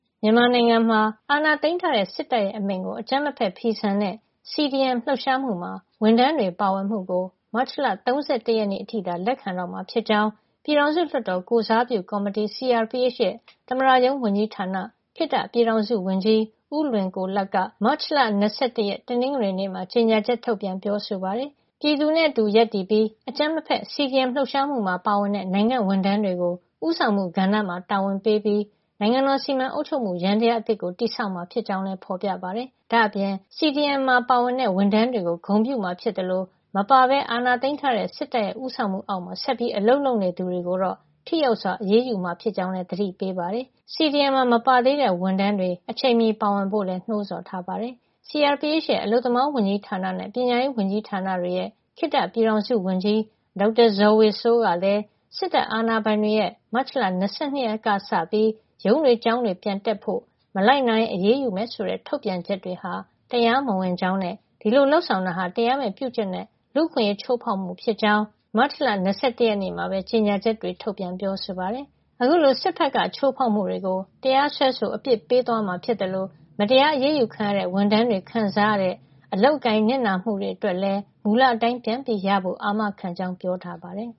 မြန်မာနိုင်ငံမှာ အာဏာသိမ်းထားတဲ့ စစ်တပ်ရဲ့ အမိန့်ကို အကြမ်းမဖက် ဖီဆန်တဲ့ CDM လှုပ်ရှားမှုမှာ ဝန်ထမ်းတွေ ပါဝင်မှုကို မတ်လ ၃၁ ရက်နေ့ အထိသာ လက်ခံတော့မှာ ဖြစ်ကြောင်း ပြည်ထောင်စုလွှတ်တော်ကိုယ်စားပြုကော်မတီ CRPH ရဲ့ သမ္မတရုံးဝန်ကြီးဌာန ခေတ္တပြည်ထောင်စုဝန်ကြီး ဦးလွင်ကိုလတ်က မတ်လ ၂၁ ရက် တနင်္ဂနွေနေ့မှာ ကြေညာချက် ထုတ်ပြန်ပြောဆိုပါတယ်။ ပြည်သူနဲ့အတူရပ်တည်ပြီး အကြမ်းမဖက် CDM လှုပ်ရှားမှုမှာ ပါဝင်တဲ့ နိုင်ငံ့ဝန်ထမ်းတွေကို ဦးဆောင်မှုကဏ္ဍမှာ တာဝန်ပေးပြီး နိုင်ငံတော် စီမံအုပ်ချုပ်မှု ယန္တရား အသစ်ကို တည်ဆောက်မှာ ဖြစ်ကြောင်းလည်း ဖေါ်ပြထားပါတယ်။ ဒါ့အပြင် CDM မှာပါဝင်ခဲ့တဲ့ ဝန်ထမ်းတွေကို ဂုဏ်ပြုမှာ ဖြစ်သလို CDM မှာ မပါပဲ အာဏာသိမ်းထားတဲ့စစ်တပ်ရဲ့ ဦးဆောင်မှုအောက်မှာ ဆက်ပြီးအလုပ်လုပ်နေသူတွေကိုတော့ ထိရောက်စွာ အရေးယူမှာ ဖြစ်ကြောင်းလည်း သတိပေးထားပါတယ်။ CDM မှာ မပါ သေးတဲ့ဝန်ထမ်းတွေ အချိန်မီ ပါဝင်ဖို့လည်း နှိုးဆော်ထားတာပါ။ CRPH ရဲ့ အလုပ်သမားဝန်ကြီးဌာန နဲ့ ပညာရေးဝန်ကြီးဌာနတွေရဲ့ ခေတ္တပြည်ထောင်စုဝန်ကြီး ဒေါက်တာဇော်ဝေစိုးကလည်း စစ်တပ်အာဏာပိုင်တွေရဲ့ မတ်လ ၂၂ ရက်ကစပြီး ရုံးတွေ ကျောင်းတွေ ပြန်တက်ဖို့၊ မလိုက်နာရင် အရေးယူမယ်ဆိုတဲ့ ထုတ်ပြန်ချက်တွေဟာ တရားမဝင်ကြောင်းနဲ့ ဒီလိုလုပ်ဆောင်တာဟာ တရားမဲ့ပြုကျင့်တဲ့ လူ့အခွင့်ရေး ချိုးဖေါက်မှု ဖြစ်ကြောင်း မတ်လ ၂၁ ရက်နေ့မှာပဲ ကြေညာချက်တွေ ထုတ်ပြန်ပြောဆိုပါတယ်။ ဒါ့အပြင် အခုလို စစ်ဘက်က ချိုးဖေါက်မှုတွေကို တရားစွဲဆို အပြစ်ပေးသွားမှာ ဖြစ်သလို မတရား အရးယူခံရတဲ့ ဝန်ထမ်းတွေခံစားရတဲ့ အလုပ်အကိုင်၊ နစ်နာမှုတွေအတွက်လည်း မူလအတိုင်း ပြန်ရဖို့ အာမခံကြောင်း ပြောကြားထားပါတယ်။